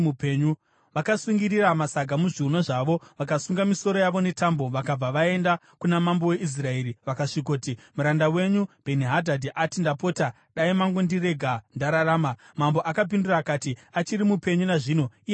Vakasungirira masaga muzviuno zvavo vakasunga misoro yavo netambo, vakabva vaenda kuna mambo weIsraeri vakasvikoti, “Muranda wenyu Bheni-Hadhadhi ati, ‘Ndapota, dai mangondirega ndararama.’ ” Mambo akapindura akati, “Achiri mupenyu nazvino? Ihama yangu.”